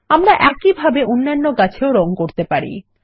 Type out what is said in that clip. আমরা একই ভাবে অন্যান্য গাছের রঙ করতে পারি